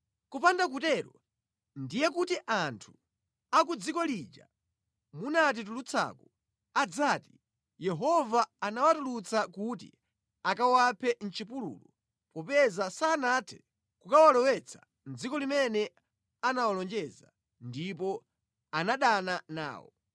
Kupanda kutero, ndiye kuti anthu a ku dziko lija munatitulutsaku adzati, ‘Yehova anawatulutsa kuti akawaphe mʼchipululu popeza sanathe kukawalowetsa mʼdziko limene anawalonjeza ndipo anadana nawo.’